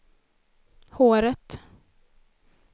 håret